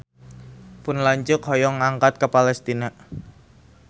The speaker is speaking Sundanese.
Pun lanceuk hoyong angkat ka Palestina